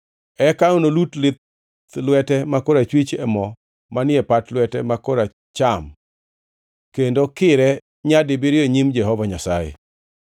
eka enolut lith lwete ma korachwich e mo manie pat lwete ma koracham, kendo kire nyadibiriyo e nyim Jehova Nyasaye.